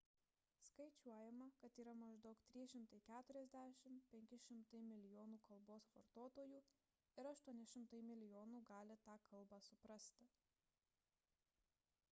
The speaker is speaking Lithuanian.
skaičiuojama kad yra maždaug 340–500 milijonų kalbos vartotojų ir 800 milijonų gali tą kalbą suprasti